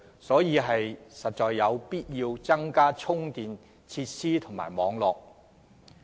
因此，當局實有必要增加公共充電設施和網絡。